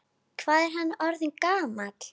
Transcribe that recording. Hvað er hann orðinn gamall?